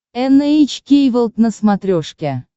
эн эйч кей волд на смотрешке